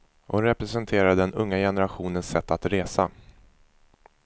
Hon representerar den unga generationens sätt att resa.